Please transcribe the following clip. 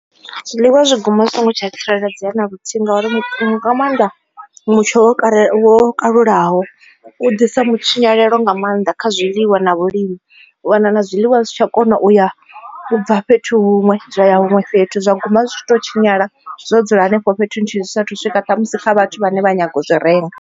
Zwiḽiwa zwi guma zwi songo tsha tsireledzea na luthihi ngauri nga maanḓa mutsho wo kalulaho u ḓisa mutshinyalo nga maanḓa kha zwiḽiwa na vhulimi u wana na zwiḽiwa zwi si tsha kona u ya bva fhethu huṅwe na huṅwe fhethu zwa guma zwitshi to tshinyala zwo dzula henefho fhethu nthihi zwi saathu u swika ṱhamusi kha vhathu vhane vha nyaga u zwi renga.